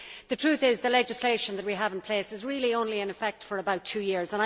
The truth is that the legislation that we have in place is really only in effect for about two years.